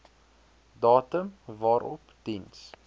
datum waarop diens